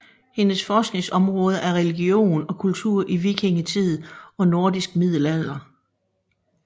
Hendes forskningsområde er religion og kultur i vikingetid og nordisk middelalder